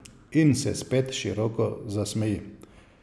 In se spet široko zasmeji.